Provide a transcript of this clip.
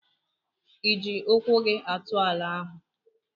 Ịji ụkwụ gị atụ ala ahụ?